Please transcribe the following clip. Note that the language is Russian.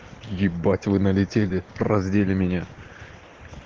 ебать вы налетели раздели меня